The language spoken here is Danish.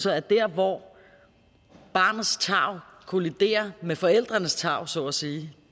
at der hvor barnets tarv kolliderer med forældrenes tarv så at sige